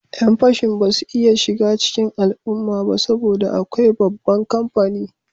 Yan fashin ba su iya shiga cikin al'umma ba saboda akwai babban kamfani